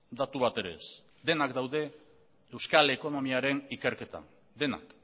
datu bat ere ez denak daude euskal ekonomiaren ikerketan denak